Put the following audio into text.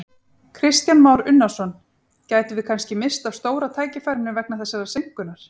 Kristján Már Unnarsson: Gætum við kannski misst af stóra tækifærinu vegna þessarar seinkunar?